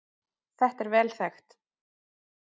Þetta er vel þekkt